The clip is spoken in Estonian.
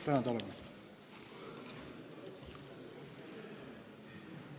Tänan tähelepanu eest!